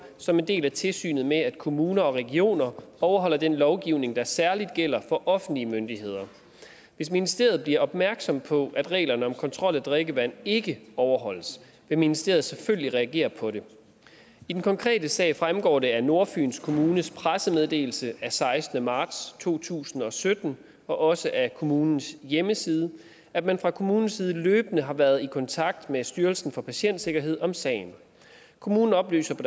som en del af tilsynet med at kommuner og regioner overholder den lovgivning der særligt gælder for offentlige myndigheder hvis ministeriet bliver opmærksom på at reglerne om kontrol af drikkevand ikke overholdes vil ministeriet selvfølgelig reagere på det i den konkrete sag fremgår det af nordfyns kommunes pressemeddelelse af sekstende marts to tusind og sytten og også af kommunens hjemmeside at man fra kommunens side løbende har været i kontakt med styrelsen for patientsikkerhed om sagen kommunen oplyser på